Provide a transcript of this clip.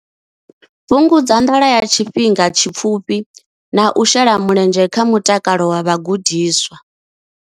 Fhungudza nḓala ya tshifhinga tshipfufhi na u shela mulenzhe kha mutakalo wa vhagudiswa.